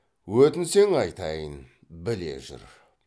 өтінсең айтайын біле жүр